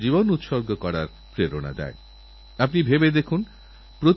শীতের সময় ঘুমোনোর ইচ্ছে করলেও বিছানাছেড়ে মাঠে দৌড়তে হয়